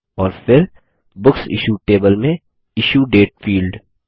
और फिर books issued table में इश्यू डेट फील्ड